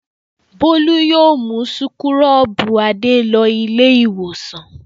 Bólú yóò mú súkúrọ́bù Adé lọ Ilé-ìwòsàn.